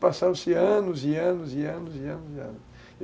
Passaram-se anos e anos e anos e anos e anos.